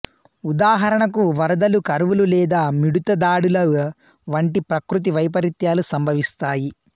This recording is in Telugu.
ఉదాహరణకు వరదలు కరువులు లేదా మిడుత దాడుల వంటి ప్రకృతి వైపరీత్యాలు సంభవిస్తాయి